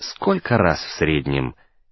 сколько раз в среднем